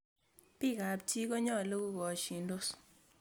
bik ab kap chii konyalu kogashindos